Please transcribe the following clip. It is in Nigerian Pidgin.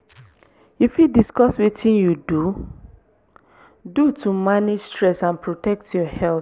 you fit discuss wetin you do do to manage stress and protect your health?